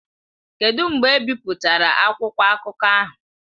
Kedụ mgbe ebipụtara akwụkwọ akụkọ ahụ?